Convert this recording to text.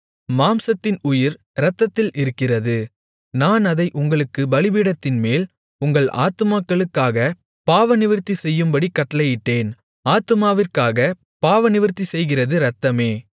மாம்சத்தின் உயிர் இரத்தத்தில் இருக்கிறது நான் அதை உங்களுக்குப் பலிபீடத்தின்மேல் உங்கள் ஆத்துமாக்களுக்காகப் பாவநிவிர்த்தி செய்யும்படிக் கட்டளையிட்டேன் ஆத்துமாவிற்காகப் பாவநிவிர்த்தி செய்கிறது இரத்தமே